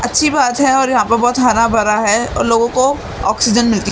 अच्छी बात है और यहां पर बहुत हरा भरा है और लोगों को ऑक्सीजन मिलती है।